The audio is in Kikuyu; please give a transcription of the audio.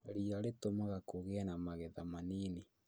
Riia rĩtũmaga kũgĩe na magetha manini